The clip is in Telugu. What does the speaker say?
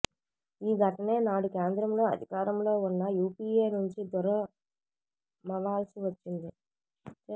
ఈ ఘటనే నాడు కేంద్రంలో అధికారంలో ఉన్న యూపీఏ నుంచి దూరమవాల్సి వచ్చింది